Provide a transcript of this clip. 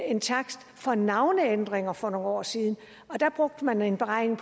en takst for navneændringer for nogle år siden og der brugte man en beregning